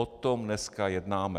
O tom dneska jednáme.